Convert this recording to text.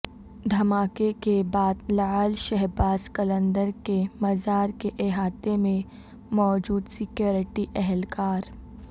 دھماکے کے بعد لعل شہباز قلندر کے مزار کے احاطے میں موجود سکیورٹی اہلکار